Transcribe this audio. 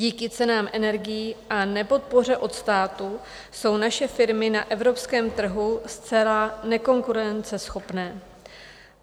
Díky cenám energií a nepodpoře od státu jsou naše firmy na evropském trhu zcela nekonkurenceschopné.